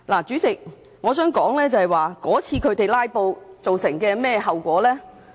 主席，我想談談他們那次"拉布"造成甚麼後果。